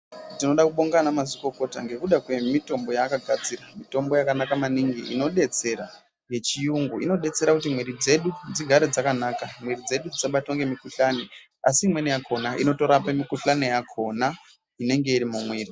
Tinoda kubonga ana madzikokota ngekuda kwemitombo yaakagadzira. Mitombo yakanaka maningi inodetsera yechiyungu . Inodetsera kuti mwiri dzedu dzigare dzakanaka, mwiri dzedu dzisabatwa ngemukhulani, asi imweni yakhona inororapa mukhulani yakhona inenge iri mumwiri.